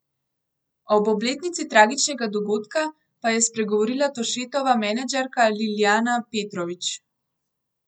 Ob obletnici tragičnega dogodka pa je spregovorila Tošetova menedžerka Ljiljana Petrović.